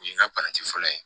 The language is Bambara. O ye n ka fɔlɔ ye